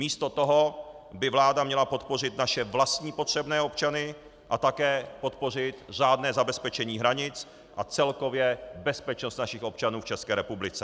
Místo toho by vláda měla podpořit naše vlastní potřebné občany a také podpořit řádné zabezpečení hranic a celkově bezpečnost našich občanů v České republice.